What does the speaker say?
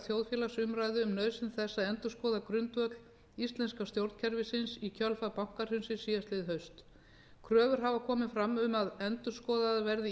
þjóðfélagsumræðu um nauðsyn þess að endurskoða grundvöll íslenska stjórnkerfisins í kjölfar bankahrunsins síðastliðið haust kröfur hafa komið fram um að endurskoðaðar verði